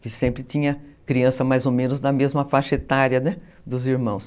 que sempre tinha criança mais ou menos da mesma faixa etária, né, dos irmãos.